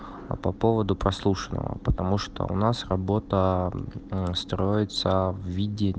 а по поводу прослушанного потому что у нас работа аа строится в виде